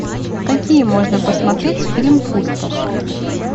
какие можно посмотреть фильм пустошь